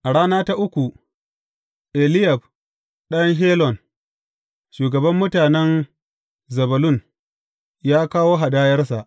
A rana ta uku, Eliyab ɗan Helon, shugaban mutanen Zebulun, ya kawo hadayarsa.